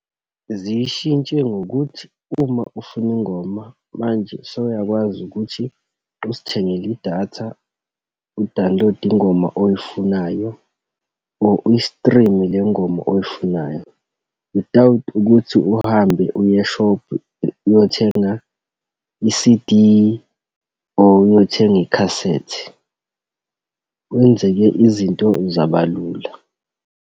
Ziyishintshe ngokuthi uma ufuna ingoma manje, sewuyakwazi ukuthi uzithengele idatha, udawunilode ingoma oyifunayo, or uyi-stream-e le ngoma oyifunayo without ukuthi uhambe uye e-shop uyothenga i-C_D, or uyothenga i-cassette. Kwenzeke izinto zabalula.